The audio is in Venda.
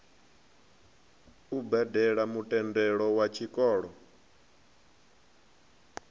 u badele mutendelo wa tshikolo